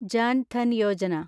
Jan Dhan Yojana